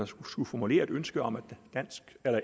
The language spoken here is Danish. skulle formulere et ønske om at